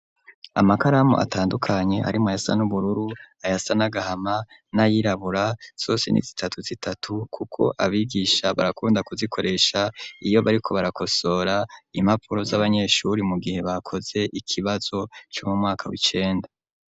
Amakaramu atandukanye arimwo ayasa n'ubururu ayasa n'agahama n'ayirabura zose ni zitatu zitatu kuko abigisha barakunda kuzikoresha iyo bariko barakosora impapuro z'abanyeshuri mu gihe bakoze ikibazo co mu mwaka w'icenda.